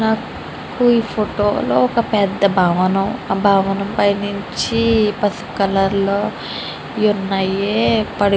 ఈ ఫోటో ఒక పెద్ద భవనం. ఆ భవనం పైనుంచి పసుపు కలర్ --